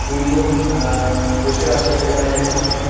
''দু''''জন অ্যা-অ্যা বসে আছে সেখানে একটি কানে --''